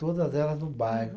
Todas elas no bairro.